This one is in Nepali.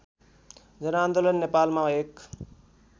जनआन्दोलन नेपालमा एक